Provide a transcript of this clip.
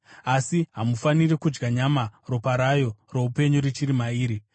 “Asi hamufaniri kudya nyama, ropa rayo roupenyu richiri mairi.